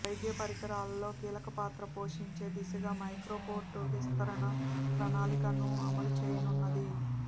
వైద్య పరికరాల్లో కీలకపాత్ర పోషించే దిశగా మైక్రో పోర్ట్ విస్తరన ప్రణాళికలను అమలు చేయనున్నది